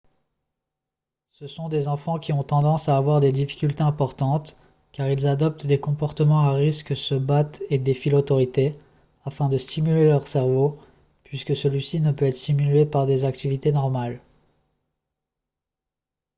ce sont des enfants qui ont tendance à avoir des difficultés importantes car ils « adoptent des comportements à risque se battent et défient l'autorité » afin de stimuler leur cerveau puisque celui-ci ne peut être stimulé par des activités normales